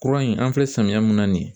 Kura in an filɛ samiya mun na nin ye